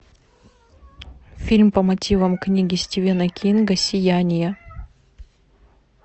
фильм по мотивам книги стивена кинга сияние